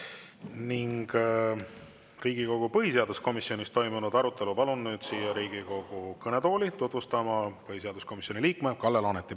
Riigikogu põhiseaduskomisjonis toimunud arutelu palun nüüd siia Riigikogu kõnetooli tutvustama põhiseaduskomisjoni liikme Kalle Laaneti.